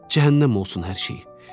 “Cəhənnəm olsun hər şey!